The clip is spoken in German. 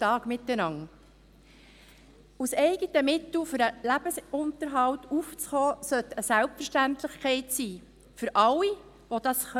Aus eigenen Mitteln für den Lebensunterhalt aufzukommen, sollte eine Selbstverständlichkeit sein – für alle, die dies können.